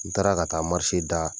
N taara ka taa d'a